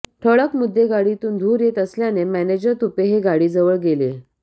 ठळक मुद्देगाडीतून धूर येत असल्याने मॅनेजर तुपे हे गाडीजवळ गेेले